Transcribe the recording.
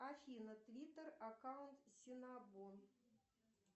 афина твиттер аккаунт синабон